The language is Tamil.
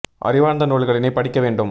அறிவார்ந்த நூல்களினைப் படிக்க வேண்டும்